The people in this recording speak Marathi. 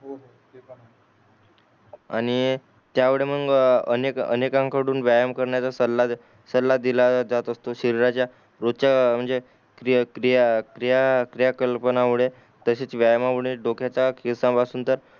आणि त्यामुडे मग अनेक अनेका कडून व्यायमकारण्याचा सला सल्ला दिला जात असतो शरीराचा रोच्या म्हणजे क्रिया क्रिया कल्पनांना मुळे तसेच व्यायाम मुळे डोक्याचा केस पासून त